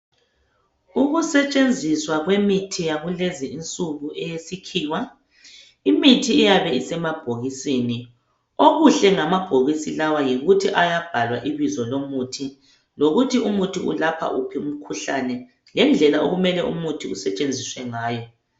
Ukusetshenziswa kwemithi yakulezinsuku iyabe isemabhokisini, okuhle ngamabhokisi lawa yikuthi kuyabhalwa ibizo lomuthi lokuthi umuthi ulapha uphi umkhuhlane lendlela umuthi usetshenziswa ngayo.